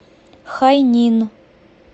хайнин